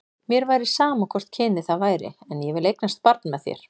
Mér væri sama hvort kynið það væri, en ég vil eignast barn með þér.